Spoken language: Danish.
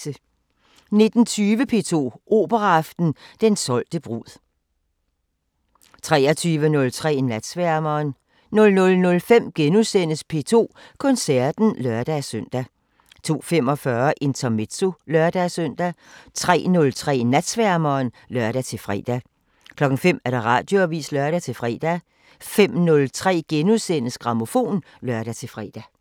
19:20: P2 Operaaften: Den solgte brud 23:03: Natsværmeren 00:05: P2 Koncerten *(lør-søn) 02:45: Intermezzo (lør-søn) 03:03: Natsværmeren (lør-fre) 05:00: Radioavisen (lør-fre) 05:03: Grammofon *(lør-fre)